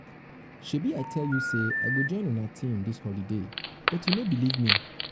shebi i tell you say i go join una team for dis holiday but you no believe me